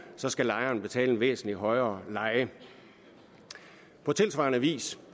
så skal lejeren betale en væsentlig højere leje på tilsvarende vis